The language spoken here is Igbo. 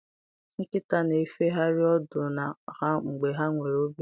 Nkịta na-efegharị ọdụ ha mgbe ha nwere obi ụtọ.